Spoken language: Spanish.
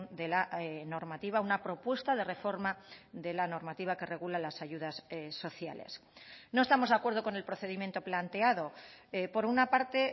de la normativa una propuesta de reforma de la normativa que regula las ayudas sociales no estamos de acuerdo con el procedimiento planteado por una parte